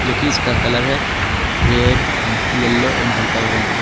जो कि इसका कलर है रेड एंड येलो एंड हल्का ऑरेंज ।